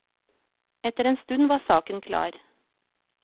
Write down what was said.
Etter en stund var saken klar.